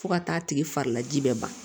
Fo ka taa tigi fari laji bɛɛ ban